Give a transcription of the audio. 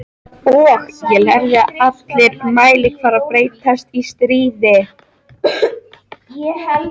Og ég lærði að allir mælikvarðar breytast í stríði.